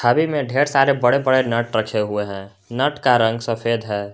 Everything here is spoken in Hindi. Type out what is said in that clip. छवि में ढेर सारे बड़े बड़े नट रखे हुए हैं नट का रंग सफेद है।